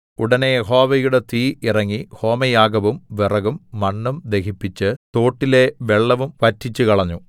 ഉടനെ യഹോവയുടെ തീ ഇറങ്ങി ഹോമയാഗവും വിറകും മണ്ണും ദഹിപ്പിച്ച് തോട്ടിലെ വെള്ളവും വറ്റിച്ചുകളഞ്ഞു